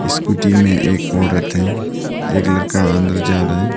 Scooty में एक औरत है एक लरका अंदर जा रहा है।